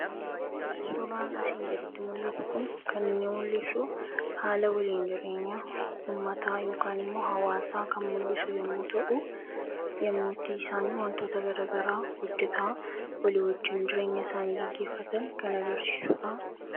suuraan asiin gaditti mul'atu kun kaninni mul'isu haala waliin jireenya ummataa yookan immoo hawaasaa kan mul'isu yommuu ta'u yommuuttii isaanii wantoota garagaraa hojjeta walii wajjiin jireenya isaanii geggeeffatan kan agarsiisuudha.